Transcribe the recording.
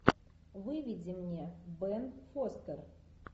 выведи мне бен фостер